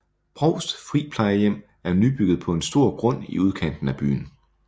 Brovst Friplejehjem er nybygget på en stor grund i udkanten af byen